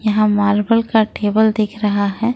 यहां मार्बल का टेबल दिखा रहा है।